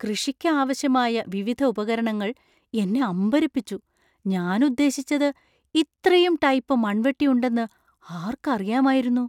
കൃഷിയ്ക്ക് ആവശ്യമായ വിവിധ ഉപകരണങ്ങൾ എന്നെ അമ്പരപ്പിച്ചു. ഞാൻ ഉദ്ദേശിച്ചത്, ഇത്രയും ടൈപ്പ് മണ്‍വെട്ടി ഉണ്ടെന്ന് ആർക്കറിയാമായിരുന്നു?